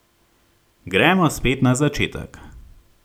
Gremo spet na začetek.